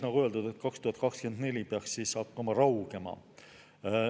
Nagu öeldud, 2024 peaks see hakkama raugema.